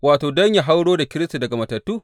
wato, don yă hauro da Kiristi daga matattu.